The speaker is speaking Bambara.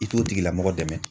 I t'o tigilamɔgɔ dɛmɛ.